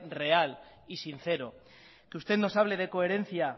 real y sincero que usted nos hable de coherencia